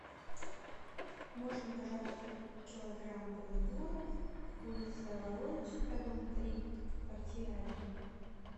можно пожалуйста килограмм помидоров улица воронежская дом три квартира один